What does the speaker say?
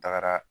Tagara